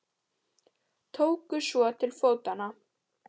Tóku svo til fótanna.